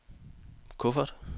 kuffert